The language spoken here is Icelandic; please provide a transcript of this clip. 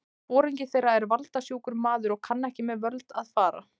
Foringi þeirra er valda- sjúkur maður og kann ekki með völd að fara.